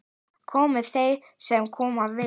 Komi þeir sem koma vilja